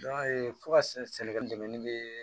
fo ka se sɛnɛgali dɛmɛ bɛ